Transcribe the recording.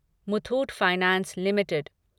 Muthoot finance limited